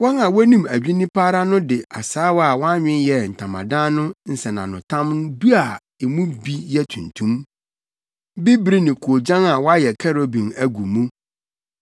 Wɔn a wonim adwinni pa ara no de asaawa a wɔanwen yɛɛ Ntamadan no nsɛnanotam du a emu bi yɛ tuntum, bibiri ne koogyan a wɔayɛ kerubim agu mu.